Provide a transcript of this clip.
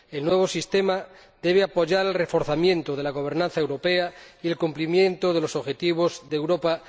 El nuevo sistema debe apoyar el reforzamiento de la gobernanza europea y el cumplimiento de los objetivos de Europa